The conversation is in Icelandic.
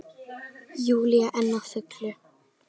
Júlía enn á fullu.